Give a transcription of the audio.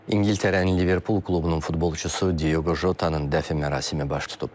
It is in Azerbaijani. İngiltərənin Liverpool klubunun futbolçusu Diogo Jota-nın dəfn mərasimi baş tutub.